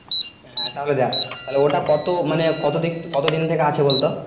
হ্যাঁ তাহলে দেখ তাহলে ওইটা কত মানে কত দিক কতদিন থেকে আছে বলতো?